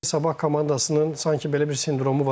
Sabah komandasının sanki belə bir sindromu var.